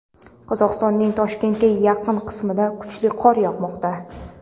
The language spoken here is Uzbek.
Qozog‘istonning Toshkentga yaqin qismida kuchli qor yog‘moqda.